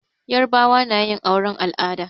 Yarbawa na yin auren al'ada.